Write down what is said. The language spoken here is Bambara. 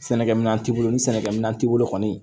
Sɛnɛkɛ minɛn t'i bolo ni sɛnɛkɛminɛn t'i bolo kɔni